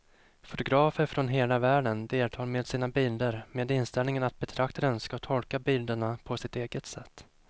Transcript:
Fotografer från hela världen deltar med sina bilder med inställningen att betraktaren ska tolka bilderna på sitt eget sätt.